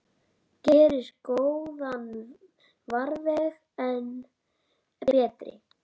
Gerir góðan farveg enn betri.